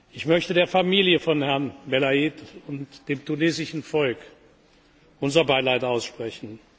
Ich möchte der Familie von Herrn Belaïd und dem tunesischen Volk unser Beileid aussprechen.